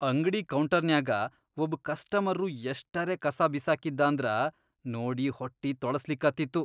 ಅಂಗ್ಡಿ ಕೌಂಟರ್ನ್ಯಾಗ ಒಬ್ ಕಸ್ಟಮರ್ರು ಎಷ್ಟರೆ ಕಸಾ ಬಿಸಾಕಿದ್ದಾಂದ್ರ ನೋಡಿ ಹೊಟ್ಟಿ ತೊಳಸ್ಲಿಕತ್ತಿತ್ತು.